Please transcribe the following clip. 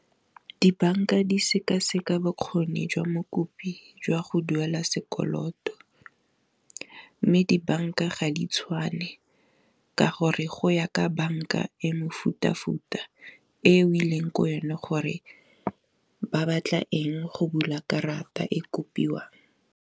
Dibanka di sekaseka bokgoni jwa mokopi jwa go duela sekoloto, mme dibanka ga di tshwane ka gore go ya ka banka e mefuta-futa e o ileng ko go yone, gore ba batla eng go bula karata e kopiwang.